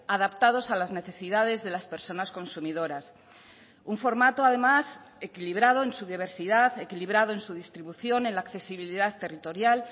adaptados a las necesidades de las personas consumidoras un formato además equilibrado en su diversidad equilibrado en su distribución en la accesibilidad territorial